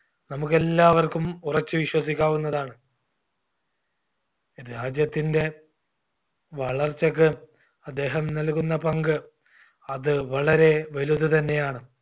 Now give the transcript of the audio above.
നമുക്കെല്ലാവർക്കും ഉറച്ചു വിശ്വസിക്കാവുന്നതാണ്. രാജ്യത്തിൻറെ വളർച്ചക്ക് അദ്ദേഹം നൽകുന്ന പങ്ക് അത് വളരെ വലുത് തന്നെയാണ്